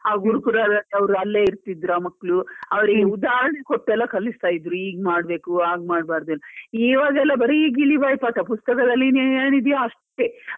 ಆ ಗುರುಕುಲದಲ್ಲಿ ಅಲ್ಲೇ ಇರ್ತಿದ್ರು, ಆ ಮಕ್ಕಳು ಅವ್ರಿಗೆ ಉದಾಹರಣೆ ಕೊಟ್ಟು ಎಲ್ಲ ಕಲಿಸ್ತಾ ಇದ್ರು ಹೀಗ್ ಮಾಡಬೇಕು ಹಾಗೆ ಮಾಡಬಾರದು ಅಂತ ಇವಾಗೆಲ್ಲ ಬರಿ ಗಿಳಿ ಬಾಯಿ ಪಾಠ ಬರೀ ಪುಸ್ತಕದಲ್ಲಿ ಏನಿದೆಯೋ ಅಷ್ಟೇ.